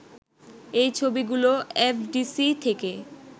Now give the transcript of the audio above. এই ছবিগুলো এফডিসি থেকে